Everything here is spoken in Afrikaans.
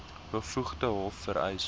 bevoegde hof vereis